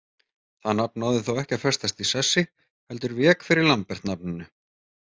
Það nafn náði þó ekki að festast í sessi heldur vék fyrir Lambert-nafninu.